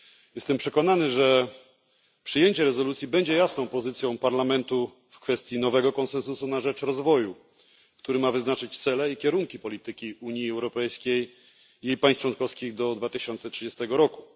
Jestem przekonany, że przyjęcie rezolucji będzie jasną pozycją Parlamentu w kwestii nowego konsensusu na rzecz rozwoju, który ma wyznaczyć cele i kierunki polityki Unii Europejskiej i państw członkowskich do 2030 roku.